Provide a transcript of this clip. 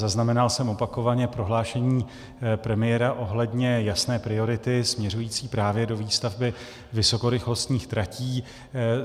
Zaznamenal jsem opakovaně prohlášení premiéra ohledně jasné priority směřující právě do výstavby vysokorychlostních tratí.